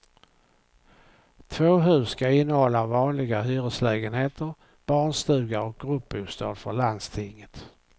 Två hus ska innehålla vanliga hyreslägenheter, barnstuga och gruppbostad för landstinget.